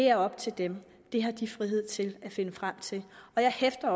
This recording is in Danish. er op til dem det har de frihed til at finde frem til jeg hæfter